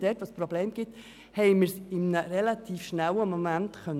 Dort, wo es Probleme gab, konnten wir diese recht schnell lösen.